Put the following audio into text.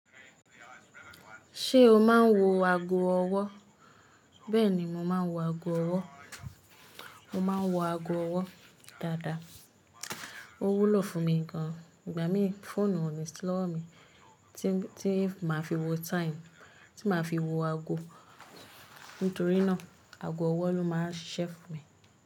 Ṣé o máa ń wo ago ọwọ́? Bẹ́ẹ̀ni, mo máa ń wo ago ọwọ́. Mo máa ń wo ago ọwọ́ dáadáa. Ó wúlò fún mi gan-an. Ìgbà mí fóònù ò ní si lóòwo mi tí, tí máa fi wo time, tí máa fi wo ago. Nítorí náà ago ọwọ́ ló máa ń ṣisẹ́ fùn mi.